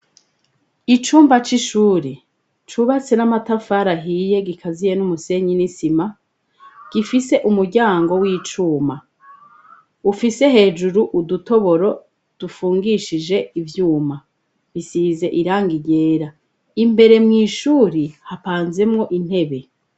Icumba c'ishure cubatse n'amatafari ahiye gikaziye n'umusenyi n'isima gifise umuryango w'icuma ufise hejuru udutoboro dufungishije ivyuma bisize irangi ryera imbere mw'ishuri hapanzemwo intebe.